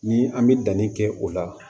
Ni an bɛ danni kɛ o la